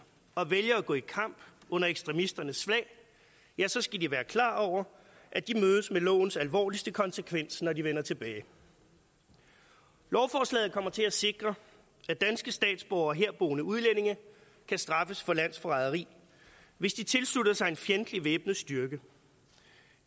og vælger at gå i kamp under ekstremisternes flag ja så skal de være klar over at de mødes med lovens alvorligste konsekvens når de vender tilbage lovforslaget kommer til at sikre at danske statsborgere og herboende udlændinge kan straffes for landsforræderi hvis de tilslutter sig en fjendtlig væbnet styrke